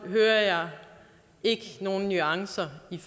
hører jeg ikke nogen nuancer i